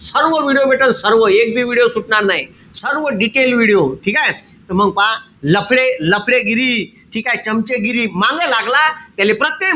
सर्व video भेटन सर्व video. एक बी video सुटणार नाई. सर्व detail video ठीकेय? त मंग पहा. लफडे लफ़डेगिरी. ठीकेय? चमचेगिरी. मांग लागला त्याले प्रत्यय,